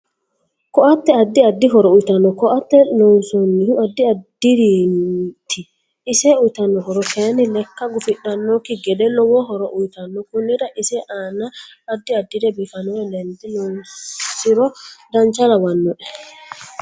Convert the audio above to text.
Ko'atte addi addi horo uyiitanno ko'atte loonsanihu addi adiriiti ise uyiitanno horo kayiini lekka gufudhanokki gede lowo horo uyiitanno konnira ise aanna addi addire biifanore lende loonsiro dancha lawanoe